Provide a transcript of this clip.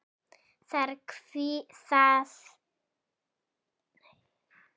Þar hvílir hjarta mitt.